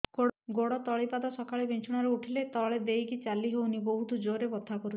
ଗୋଡ ତଳି ପାଦ ସକାଳେ ବିଛଣା ରୁ ଉଠିଲେ ତଳେ ଦେଇକି ଚାଲିହଉନି ବହୁତ ଜୋର ରେ ବଥା କରୁଛି